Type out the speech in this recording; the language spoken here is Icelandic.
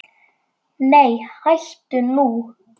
Nei hættu nú!